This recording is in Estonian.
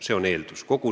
See on eeldus.